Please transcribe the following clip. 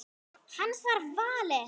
Hans er valið.